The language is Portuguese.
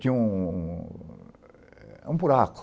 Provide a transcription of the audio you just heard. Tinha um buraco.